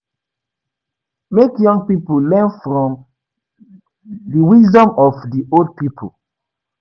Make young pipo learn from the wisdom of di old pipo